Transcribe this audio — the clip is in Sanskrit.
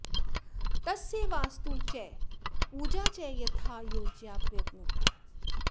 तस्य वास्तु च पूजा च यथा योज्या प्रयत्नतः